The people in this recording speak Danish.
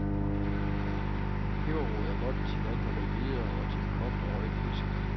Peberrod er godt til alt med rødbeder, og til kogt og røget fisk.